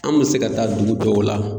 An bɛ se ka taa dugu dɔw la.